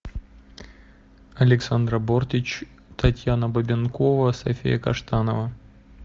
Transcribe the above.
александра бортич татьяна бабенкова софия каштанова